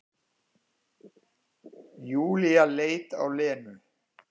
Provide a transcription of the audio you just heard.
Júlía leit á Lenu.